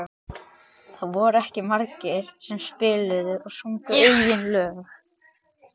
Það voru ekki margir sem spiluðu og sungu eigin lög.